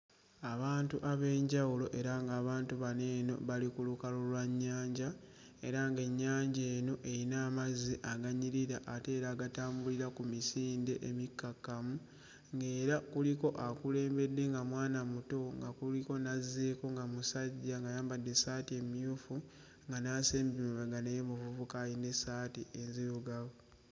Abantu ab'enjawulo era ng'abantu bano eno bali ku lukalu lwa nnyanja era ng'ennyanja eno eyina amazzi aganyirira ate era agatambulira ku misinde emikakkamu, ng'era kuliko akulembedde nga mwana muto nga kuliko n'azzeeko nga musajja ng'ayambadde essaati emmyufu nga n'asembye emabega naye muvubuka ayina essaati enzirugavu.